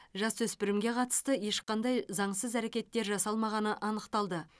жасөспірімге қатысты ешқандай заңсыз әрекеттер жасалмағаны анықталды